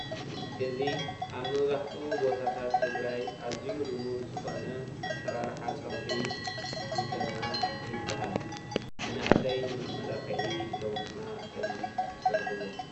እዚ ኣብ መብዛሕቲኡ ቦታት ትግራይ ልሙድ ዝኮነ ኣሰራርሓ ፀጉሪ ጎተና ይበ፡፡ ሃል መናእሰይ ንመመላክዒ ኢሎም ድማ ከምዚ ይስርሕዎ።